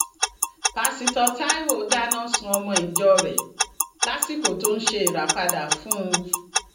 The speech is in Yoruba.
pásítọ taiwo dáná sun ọmọ ìjọ rẹ lásìkò tó ń ṣe ìràpadà fún un